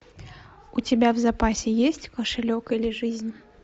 у тебя в запасе есть кошелек или жизнь